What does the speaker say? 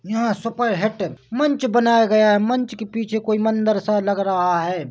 यहाँ सुपरहिट मंच बनाया गया है मंच के पीछे कोई मंदिर सा लग रहा है।